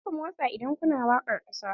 Kar ku motsa idan kuna waƙar ƙasa!